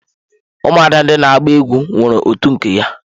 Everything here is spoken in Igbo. Ụmụada ndị na agba egwu nwere otu nke ya.